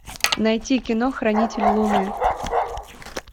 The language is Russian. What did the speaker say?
найти кино хранитель луны